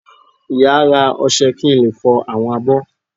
Ìyá a rá ọṣẹ kí n le fọ awọn abó.